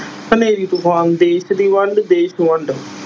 ਹਨੇਰੀ ਤੂਫ਼ਾਨ, ਦੇਸ ਦੀ ਵੰਡ ਦੇਸ ਵੰਡ।